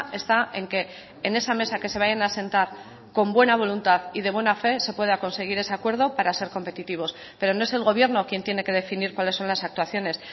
está en que en esa mesa que se vayan a sentar con buena voluntad y de buena fe se pueda conseguir ese acuerdo para ser competitivos pero no es el gobierno quien tiene que definir cuáles son las actuaciones